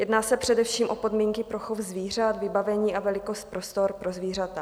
Jedná se především o podmínky pro chov zvířat, vybavení a velikost prostor pro zvířata.